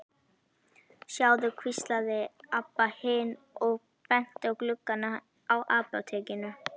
Sjáðu, hvíslaði Abba hin og benti á gluggana á apótekinu.